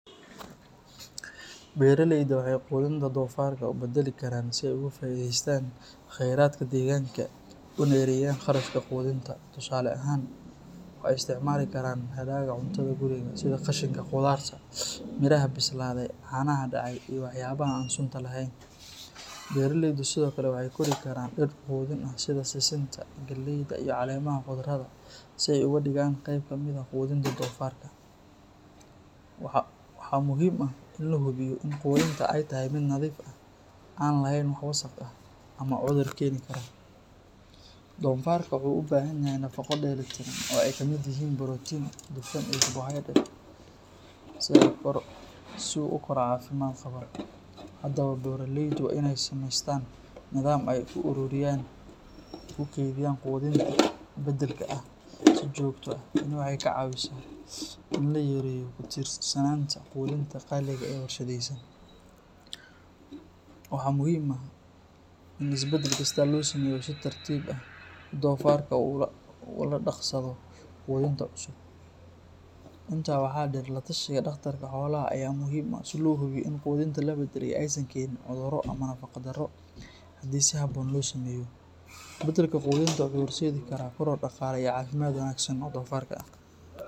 Beraleydu waxay quudinta dofarka u beddeli karaan si ay uga faa’iidaystaan kheyraadka deegaanka una yareeyaan kharashka quudinta. Tusaale ahaan, waxay isticmaali karaan hadhaaga cuntada guriga sida qashinka khudaarta, miraha bislaaday, caanaha dhacay, iyo waxyaabaha aan sunta lahayn. Beraleydu sidoo kale waxay kori karaan dhir quudin ah sida sisinta, galleyda, iyo caleemaha khudradda si ay uga dhigaan qayb ka mid ah quudinta dofarka. Waxaa muhiim ah in la hubiyo in quudinta ay tahay mid nadiif ah, aan lahayn wax wasakh ah ama cudur keeni kara. Dofarka wuxuu u baahan yahay nafaqo dheelitiran oo ay ka mid yihiin borotiin, dufan, iyo carbohydrates si uu u koro caafimaad qaba. Haddaba, beraleydu waa in ay samaystaan nidaam ay ku ururiyaan oo ku kaydiyaan quudinta beddelka ah si joogto ah. Tani waxay ka caawinaysaa in la yareeyo ku tiirsanaanta quudinta qaaliga ah ee warshadaysan. Waxaa muhiim ah in isbeddel kasta la sameeyo si tartiib tartiib ah si dofarka uu ula qabsado quudinta cusub. Intaa waxaa dheer, la tashiga dhakhtarka xoolaha ayaa muhiim ah si loo hubiyo in quudinta la beddelay aysan keenin cudurro ama nafaqo darro. Haddii si habboon loo sameeyo, beddelka quudinta wuxuu horseedi karaa koror dhaqaale iyo caafimaad wanaagsan oo dofarka ah.